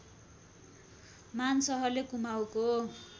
मान शाहले कुमाउँको